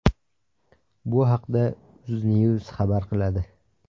Bu haqda Uznews xabar qiladi .